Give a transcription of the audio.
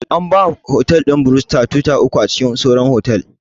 An ba wa otal ɗin 'Bristol' tuatara uku a cikin sauran otal